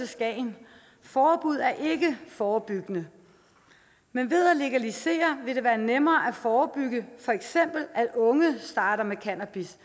skagen forbud er ikke forebyggende men ved at legalisere vil det være nemmere at forebygge for eksempel at unge starter med cannabis